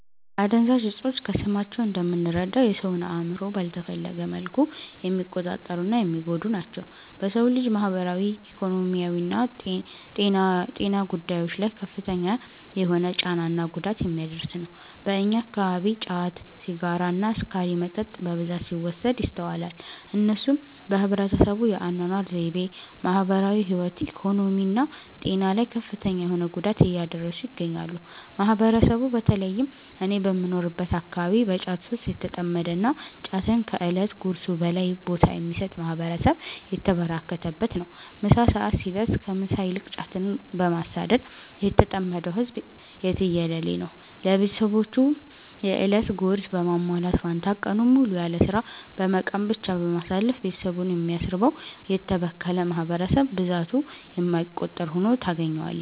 አደንዛዥ እፆች ከስማቸው እንደምንረዳው የ ሰውን አእምሮ ባልተፈለገ መልኩ የሚቆጣጠሩ እና የሚጎዱ ናቸው። በ ሰው ልጅ ማህበራዊ፣ ኢኮኖሚያዊና ጤና ጉዳዮች ላይ ከፍተኛ የሆነ ጫና እና ጉዳት የሚያደርስ ነው። በእኛ አከባቢ ጫት፣ ሲጋራ እና አስካሪ መጠጥ በብዛት ሲወሰድ ይስተዋላል። እነሱም በህብረተሰቡ የ አናኗር ዘይቤ፣ ማህበራዊ ህይወት፣ ኢኮኖሚ እና ጤና ላይ ከፍተኛ የሆነ ጉዳት እያደረሱ ይገኛሉ። ማህበረሰቡ በ ተለይም እኔ በምኖርበት አከባቢ በ ጫት ሱስ የተጠመደ እና ጫትን ከ እለት ጉርሱ በላይ ቦታ የሚሰጥ ማህበረሰብ የተበራከተበት ነው። ምሳ ሰዐት ሲደርስ ከ ምሳ ይልቅ ጫትን በማሳደድ የተጠመደው ህዝብ የትየለሌ ነው። ለቤትሰቦቹ የ እለት ጉርስ በማሟላት ፈንታ ቀኑን ሙሉ ያለስራ በመቃም ብቻ በማሳለፍ ቤትሰቡን የሚያስርበው: የተበከለ ማህበረሰብ ብዛቱ የማይቆጠር ሁኖ ታገኛዋለህ።